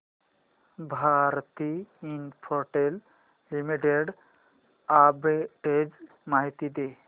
Bharti Infratel Limited arbitrage माहिती दे